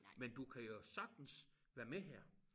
Men du kan jo sagtens være med her